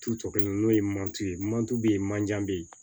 Tu kelen n'o ye ye manti be ye manje bɛ yen